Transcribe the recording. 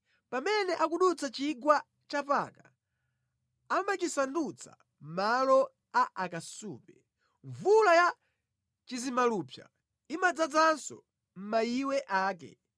Pamene akudutsa chigwa cha Baka, amachisandutsa malo a akasupe; mvula ya chizimalupsa imadzazanso mayiwe ake.